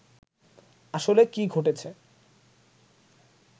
আসলে কি ঘটেছে